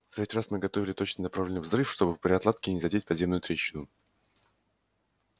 в третий раз мы готовили точно направленный взрыв чтобы при отладке не задеть подземную трещину